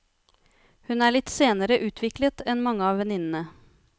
Hun er litt senere utviklet enn mange av venninnene.